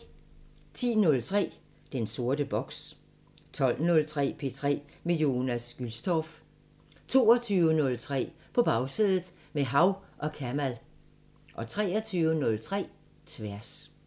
10:03: Den sorte boks 12:03: P3 med Jonas Gülstorff 22:03: På Bagsædet – med Hav & Kamal 23:03: Tværs